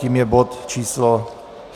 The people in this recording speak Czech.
Tím je bod číslo